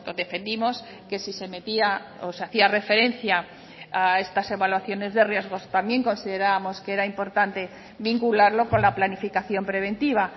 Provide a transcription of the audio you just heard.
defendimos que si se metía o se hacía referencia a estas evaluaciones de riesgos también considerábamos que era importante vincularlo con la planificación preventiva